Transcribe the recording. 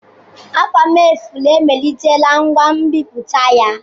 Afamefula emelitela ngwa nbiputa ya.